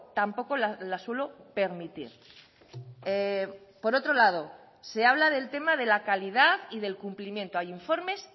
tampoco la suelo permitir por otro lado se habla del tema de la calidad y del cumplimiento hay informes